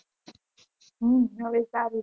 હમ હવે સારું છે